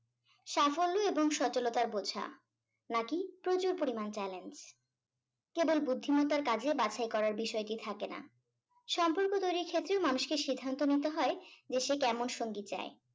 সাফল্য এবং সচলতার বোঝা নাকি প্রচুর পরিমাণ challenge কেবল বুদ্ধিমত্তার কাজে বাছাই করার বিষয়টি থাকে না সম্পর্ক তৈরির ক্ষেত্রে মানুষকে সিদ্ধান্ত নিতে হয় যে সে কেমন সঙ্গী চায়